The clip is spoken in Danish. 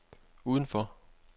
udenfor